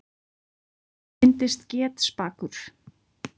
Hann reyndist getspakur.